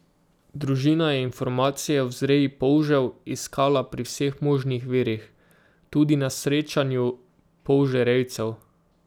Družina je informacije o vzreji polžev iskala pri vseh možnih virih, tudi na srečanju polžerejcev.